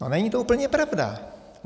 No není to úplně pravda.